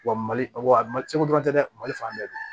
Wa mali ɔ cɔ dɔrɔn tɛ dɛ mali fan bɛɛ